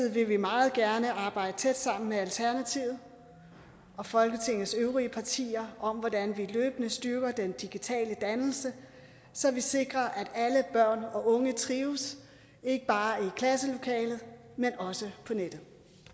vil vi meget gerne arbejde tæt sammen med alternativet og folketingets øvrige partier om hvordan vi løbende styrker den digitale dannelse så vi sikrer at alle børn og unge trives ikke bare i klasselokalet men også på nettet